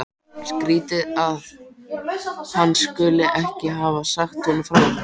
Skrýtið að hann skuli ekki hafa sagt honum frá þessu.